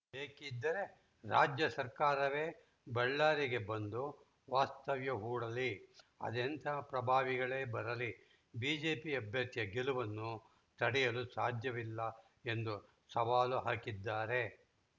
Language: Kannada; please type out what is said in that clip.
ಬೇಕಿದ್ದರೆ ರಾಜ್ಯ ಸರ್ಕಾರವೇ ಬಳ್ಳಾರಿಗೆ ಬಂದು ವಾಸ್ತವ್ಯ ಹೂಡಲಿ ಅದೆಂತಹ ಪ್ರಭಾವಿಗಳೇ ಬರಲಿ ಬಿಜೆಪಿ ಅಭ್ಯರ್ಥಿಯ ಗೆಲುವನ್ನು ತಡೆಯಲು ಸಾಧ್ಯವಿಲ್ಲ ಎಂದು ಸವಾಲು ಹಾಕಿದ್ದಾರೆ